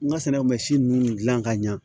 N ka sinɛŋusi ninnu dilan ka ɲa